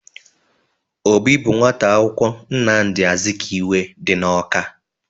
Obi bụ nwata akwụkwọ Nnamdị Azikiwe dị n'Ọka.